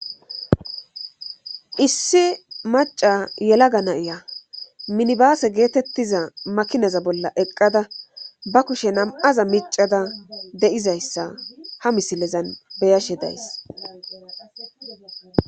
issi maca yelaga na'iya minibaasse geetettiza makinaza bolla eqqada ba kushe nam'aza micada de'izayssa ha misilezan beyashe days